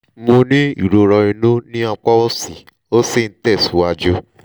mo ní ìrora inú ní apá òsì ó sì ń tẹ̀síwájú